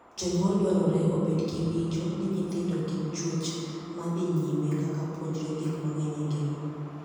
Jonyuol dwarore obed gi winjo ni nyithindo gin chuech ma dhii nyime ka puonjore gik mang'eny e ngima.